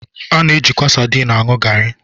A na-ejikwa sadin aṅụ garị.